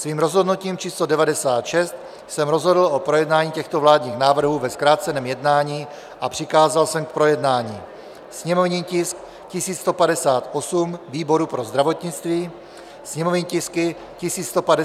Svým rozhodnutím číslo 96 jsem rozhodl o projednání těchto vládních návrhů ve zkráceném jednání a přikázal jsem k projednání sněmovní tisk 1158 výboru pro zdravotnictví, sněmovní tisky 1159 a 1160 rozpočtovému výboru.